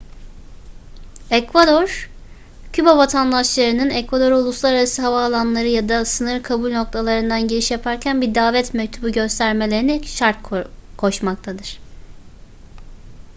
ekvador küba vatandaşlarının ekvador'a uluslararası havaalanları ya da sınır kabul noktalarından giriş yaparken bir davet mektubu göstermelerini şart koşmaktadır